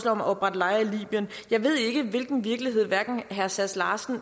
om at oprette lejre i libyen jeg ved ikke hvilken virkelighed herre sass larsen og